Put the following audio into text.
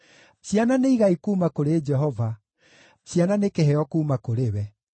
Ciana nĩ igai kuuma kũrĩ Jehova, ciana nĩ kĩheo kuuma kũrĩ we.